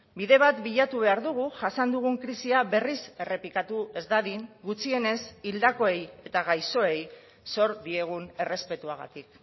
bide bat bilatu behar dugu jasan dugun krisia berriz errepikatu ez dadin gutxienez hildakoei eta gaixoei zor diegun errespetuagatik